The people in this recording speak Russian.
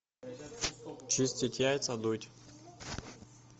чистить яйца дудь